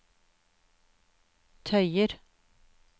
tøyer